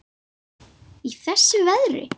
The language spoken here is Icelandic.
Í þessu veðri?